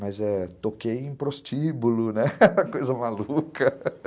Mas toquei em prostíbulo, né, coisa maluca.